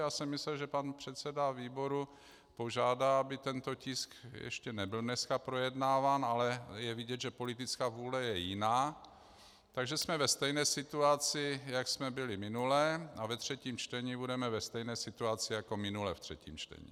Já jsem myslel, že pan předseda výboru požádá, aby tento tisk ještě nebyl dneska projednáván, ale je vidět, že politická vůle je jiná, takže jsme ve stejné situaci, jak jsme byli minule, a ve třetím čtení budeme ve stejné situaci, jako minule ve třetím čtení.